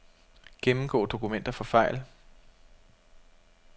Gennemgå dokumenter for fejl.